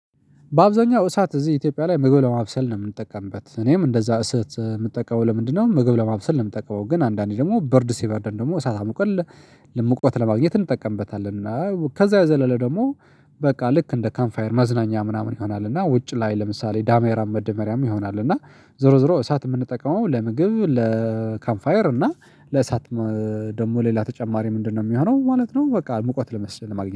በአብዛኛው እሳት እዚህ ኢትዮጵያ ላይ ምግብ ለማብሰል ነው የምንጠቀምበት እኔም እንደዛ እሰት የምትጠቀመው ለምንድነው ምግብ ለማብሰል ነው የምትጠቀመው? ግን አንዳንዴ ደግሞ በርድ ሲበርደን ደግሞ እሳት አምቆት ሙቀት ለማግኘት እንጠቀምበታለን። እና ከዛ የዘለለ ደግሞ በቃ ልክ እንደ ካምፋየር መዝናኛ ምናምን ይሆናል። እና ውጭ ላይ ለምሳሌ ደመራም መደመሪያም ይሆናል። እና ዞሮ ዞሮ እሳት የምንጠቀመው ለምግብ ለካምፋየር እና ለእሳት። ደግሞ ሌላ ተጨማሪ ምንድነው የሚሆነው ማለት ነው? በቃ ሙቀት ለመስጠት ማግኘት